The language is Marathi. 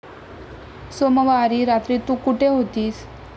सोमवारी रात्री तू कुठे होतीस?